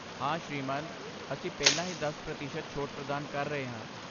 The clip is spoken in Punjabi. ਹਾ ਸ਼੍ਰੀਮਾਨ ਅਸੀਂ ਪਹਿਲਾਂ ਹੀ ਦਸ ਪ੍ਰਤੀਸ਼ਤ ਛੋਟ ਪ੍ਰਦਾਨ ਕਰ ਰਹੇ ਹਾਂ